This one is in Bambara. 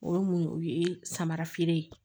O ye mun o ye samarafeere ye